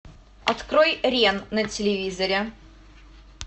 открой рен на телевизоре